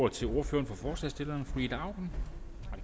ordet til ordføreren for forslagsstillerne fru ida auken